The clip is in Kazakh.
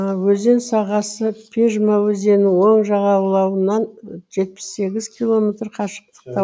өзен сағасы пежма өзенінің оң жағалауынан жетпіс сегіз километр қашықтықта